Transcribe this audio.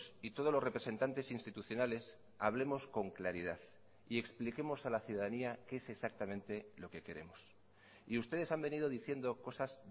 y todos los representantes institucionales hablemos con claridad y expliquemos a la ciudadanía qué es exactamente lo que queremos y ustedes han venido diciendo cosas